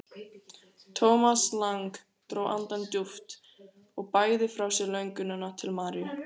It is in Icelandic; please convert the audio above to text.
Thomas Lang dró andann djúpt og bægði frá sér lönguninni til Maríu.